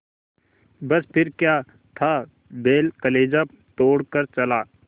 बस फिर क्या था बैल कलेजा तोड़ कर चला